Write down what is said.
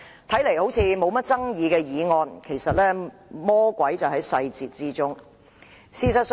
這項看似不具爭議的議案，其實魔鬼就在細節之中。